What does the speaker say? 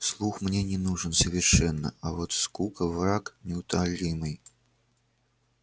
слух мне не нужен совершенно а вот скука враг неутолимый